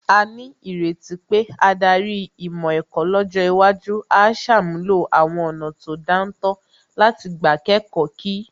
A ní ìrètí pé adarí ìmọ̀ ẹ̀kọ́ lọ́jọ́ iwájú á ṣàmúlò àwọn ọ̀nà tó dáńtọ́ láti gbà kẹ́kọ̀ọ́ kí